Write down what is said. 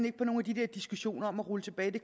ikke på nogle af de der diskussioner om at rulle tilbage det